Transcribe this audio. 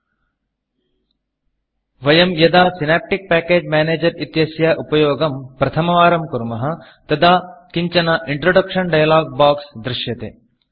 वयं यदा synaptic package Managerसिनाप्टिक् पेकेज् मेनेजर् इत्यस्य उपयोगं प्रथमवारं कुर्मः तदा किञ्चन इन्ट्रोडक्शन डायलॉग Boxइण्ट्रडक्षन् डैलोग् बोक्स् दृश्यते